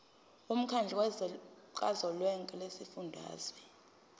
womkhandlu kazwelonke wezifundazwe